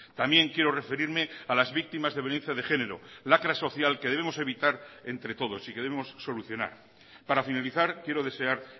también quiero referirme a las víctimas de violencia de género lacra social que debemos evitar entre todos si queremos solucionar para finalizar quiero desear